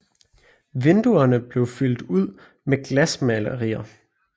Vinduerne blev fyldt ud med glasmalerier